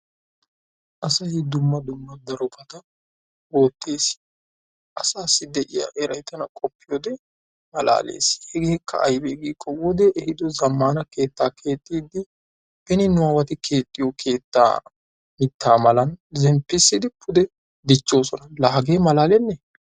asay dumma dumma darobata ootees. asaassi de'iya eray daro xeeliypode malaalees. hegeekka aybee giikko wodee ehiido zamaana keettaa keexiidi beni nuwaati keexiyo keetta mitaa mala zemppissidi pude dichoosona. laa hagee malaalenee!